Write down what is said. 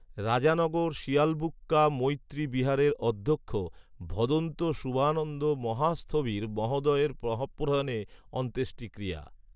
রাজানগর শিয়ালবুক্কা মৈএী বিহারের অধ্যক্ষ, ভদন্ত শূভানন্দ মহাস্থবির মহোদয়ের মহাপ্রয়াণে অন্তেষ্টিক্রিয়া